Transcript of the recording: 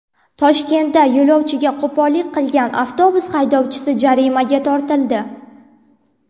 Toshkentda yo‘lovchiga qo‘pollik qilgan avtobus haydovchisi jarimaga tortildi.